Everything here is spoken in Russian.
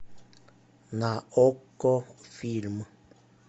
на окко фильм